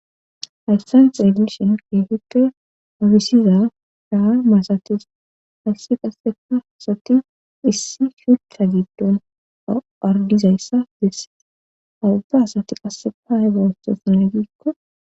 Hayssan x edishon keehippe habisiza daha maasati hayssi qasseka asati issi shutta giddon ardizayssa desse hawuba asati qassepa hegawososnagiikko